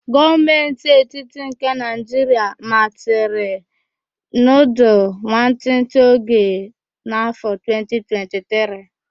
Gọọmentị etiti nke Naịjiria machiri nudul nwantịtị oge n'afọ 2023